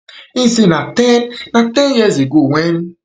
im say na ten na ten years ago wen